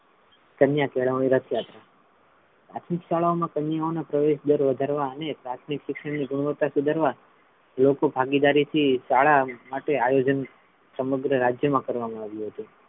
કન્યા કેળવણી રથયાત્રા પ્રાથમિક શાળાઓ મા કન્યાઓ ના પ્રવેશદર વધારવા અને પ્રાથમિક શિક્ષણ ની ગુણવતા સુધારવા લોકો ભાગીદારીથી શાળા માટે આયોજન સમગ્ર રાજ્ય મા કરવામા આવ્યું હતું.